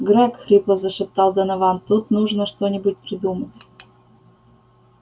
грег хрипло зашептал донован тут нужно что-нибудь придумать